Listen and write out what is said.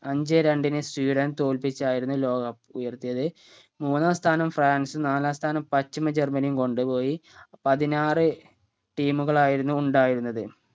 അഞ്ചേ രണ്ടിന് സ്വീഡനെ തോല്പിച്ചായിരുന്നു ലോക cup ഉയർത്തിയത് മൂന്നാം സ്ഥാനം ഫ്രാൻസ് നാലാം സ്ഥാനം പശ്ചിമ ജർമനിയും കൊണ്ട് പോയി പതിനാറ് team കളായിരുന്നു ഉണ്ടായിരുന്നത്